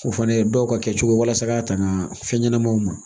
O fana ye dɔw ka kɛcogo ye walasa ka ŋana fɛn ɲɛnamaw ma